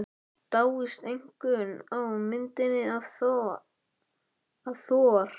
Dáist einkum að myndinni af Thor.